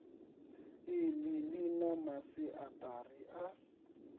iḽi ḽi na masiaṱari a